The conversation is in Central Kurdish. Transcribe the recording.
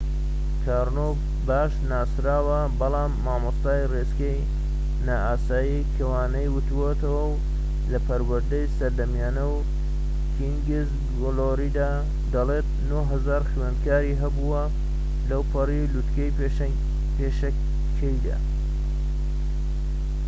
کارنۆ باش ناسراوە بەڵام مامۆستای ڕێچکەی نائاسایی کە وانەی وتۆتەوە لە پەروەردەی سەردەمیانە و کینگس گلۆریدا، دەڵێت ٩٠٠٠ خوێندکاری هەبووە لەوپەڕی لوتکەی پیشەکەیدا